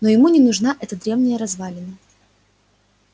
но ему не нужна эта древняя развалина